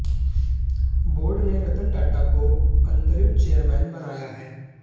board ने रतन टाटा को अंतरिम चेयरमैन बनाया है